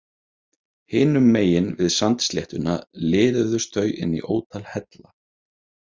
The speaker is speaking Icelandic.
Hinum megin við sandsléttuna liðuðust þau inn í ótal hella.